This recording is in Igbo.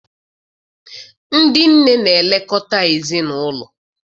Ndị nne na-elekọta ezinaụlọ.